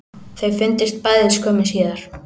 Þau fundust bæði skömmu síðar